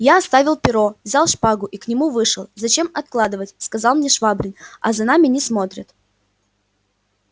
я оставил перо взял шпагу и к нему вышел зачем откладывать сказал мне швабрин а за нами не смотрят